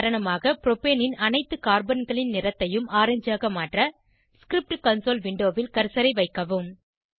உதாரணமாக ப்ரோப்பேனின் அனைத்து கார்பன்களின் நிறத்தையும் ஆரஞ்சாக மாற்ற ஸ்கிரிப்ட் கன்சோல் விண்டோவில் கர்சரை வைக்கவும்